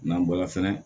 N'an bɔra fɛnɛ